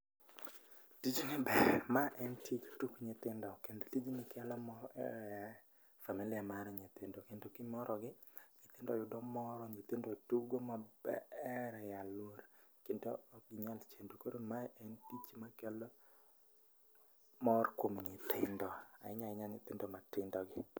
Tijni ber, ma en tich tuk nyithindo kendo tijni kelo mor e familia mar nyithindo. Kendo kimorogi, nyithindo yudo mor, nyithindo tugo maber e alwora kendo ok ginyal chendo. Koro ma en tich makelo mor kuom nyithindo, ahinya ahinya kuom nythindo gi.